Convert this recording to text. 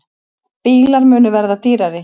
Bílar munu verða dýrari